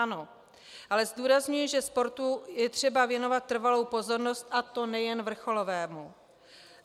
Ano, ale zdůrazňuji, že sportu je třeba věnovat trvalou pozornost, a to nejen vrcholovému.